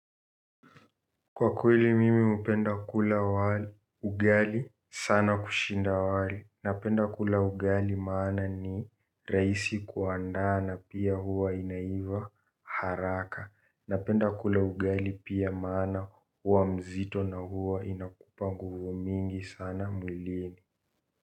Kwa kweli mimi upenda kula ugali sana kushinda wali, napenda kula ugali maana ni raisi kuandaa na pia huwa inaiva haraka, napenda kula ugali pia maana huwa mzito na huwa inakupa nguvu mingi sana mwilini.